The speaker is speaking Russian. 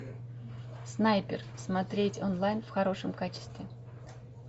снайпер смотреть онлайн в хорошем качестве